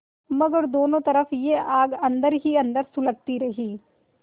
मगर दोनों तरफ यह आग अन्दर ही अन्दर सुलगती रही